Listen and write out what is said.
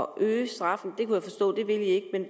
øge straffen